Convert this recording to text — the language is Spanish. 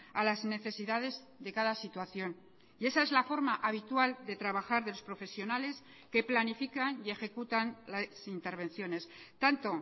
a las necesidades de cada situación y esa es la forma habitual de trabajar de los profesionales que planifican y ejecutan las intervenciones tanto